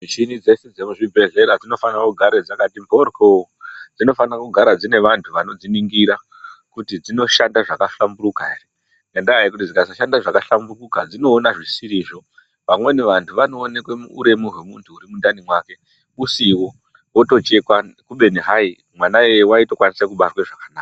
Michini dzese dzekuzvibhehleya dzinofane kugara dzakati mhoryo dzinofanire kugare dzine vantu vanodziningira kuti dzinoshanda zvakahlamburuka ere, ngendaa yekuti dzikasashanda zvakahlamburuka dzinoona zvisirizvo, vamweni vantu vanoenekwe uremu hwemuntu huri mundani mwake usiwo otechekwa kubeni hai mwana iyeye waitokwanise kubarwe zvakanaka.